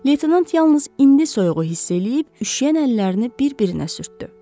Leytenant yalnız indi soyuğu hiss eləyib üşüyən əllərini bir-birinə sürtdü.